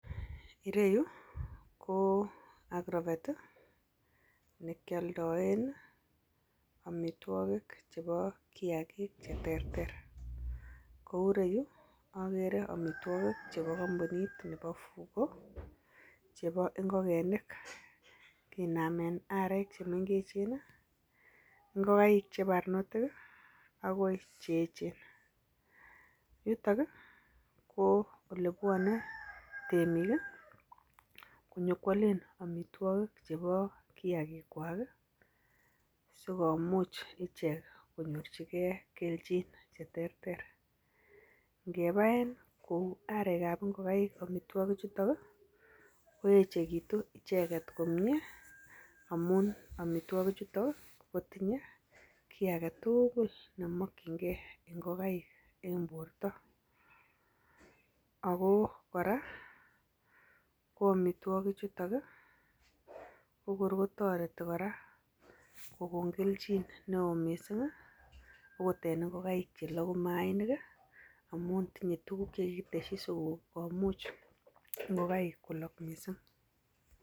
Ireyuu ko agrovet tii nekioldoen nii omitwokik chebo. Kiyakik cheterter ko ou reyuu okere omitwokik chebo kompunit Fugo chebo ingokenik kinamen arek chemengechen nii, ingokaik chebernotil kii akoi cheyechen. Yutok kii ko olebwone temik kii konyokwolen omitwokik chebo kiyagik kwak kii sikomuch ichek konyorchinengee keljin cheterter. Ngebaen kou arekab ingokaik omitwokik chuton nii koyechekitun icheket komiet amun imit9 chuton kotinye kii agetukul nemokingee ingokaik en borto ako Koraa ko omitwokik chuton ko kor kotoreti koraa kokon keljin neo missing okot en ingokaik cheloku mainik kii amun tinye tukuk chekikiteshi sikomuch ngokaik kolok missing.